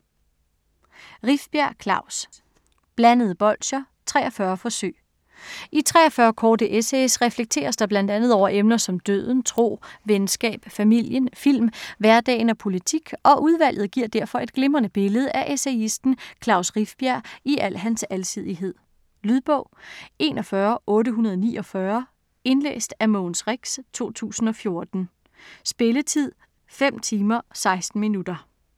Rifbjerg, Klaus: Blandede bolsjer: 43 forsøg I 43 korte essays reflekteres der bl.a. over emner som døden, tro, venskab, familien, film, hverdagen og politik, og udvalget giver derfor et glimrende billede af essayisten Klaus Rifbjerg i al hans alsidighed. Lydbog 41849 Indlæst af Mogens Rex, 2014. Spilletid: 5 timer, 16 minutter.